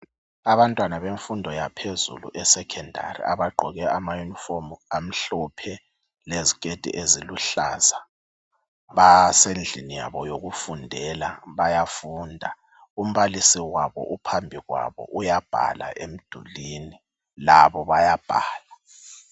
Abantwana bemfundo yaphezulu esekhondari abagqoke amayunifomu amhlophe leziketi eziluhlaza, basendlini yabo yokufundela bayafunda, umbalisi wabo uphambi kwabo uyabhala emdulwini labo bayabhala.